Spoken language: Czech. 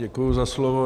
Děkuji za slovo.